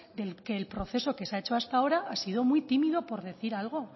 de que el proceso que se ha hecho hasta ahora ha sido muy tímido por decir algo